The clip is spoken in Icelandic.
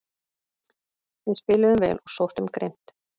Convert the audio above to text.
Við spiluðum vel og sóttum grimmt